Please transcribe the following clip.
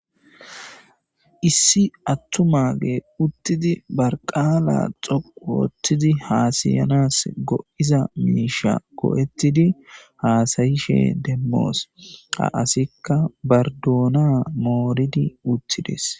Issi attu mage uttidi barqaala xoqu woottidi haasayanas go'iza miisha ko'ettidi haasayishe demmoos a asikka bardoona mooridi uttides.